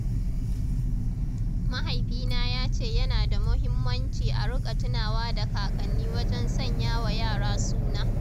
Mahaifina ya ce yana da muhimmanci a riƙa tunawa da kakanni wajen sanya wa yara suna.